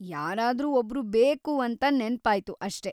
ಯಾರಾದ್ರೂ ಒಬ್ರು ಬೇಕು ಅಂತ ನೆನ್ಪಾಯ್ತು ಅಷ್ಟೇ.